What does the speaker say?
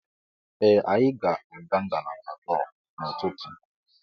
Ee, anyị ga-aga ngalaba lọọ n'ụtụtụ.